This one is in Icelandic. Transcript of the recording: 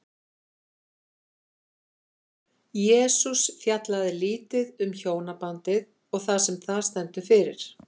Jesús fjallaði lítið um hjónabandið og það sem það stendur fyrir.